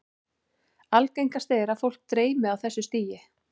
Algengast er að fólk dreymi á þessu stigi.